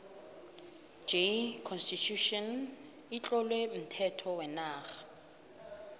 j constitution itlowe umthetho wenarha